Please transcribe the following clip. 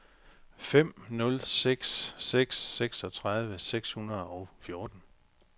fem nul seks seks seksogtredive seks hundrede og fjorten